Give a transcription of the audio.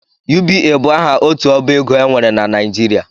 UBA bụ aha otu ọbaego e nwere na Nijirịa